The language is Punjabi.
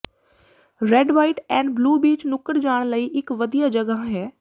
red white and blue beach ਨੁੱਕੜ ਜਾਣ ਲਈ ਇਕ ਵਧੀਆ ਜਗ੍ਹਾ ਹੈ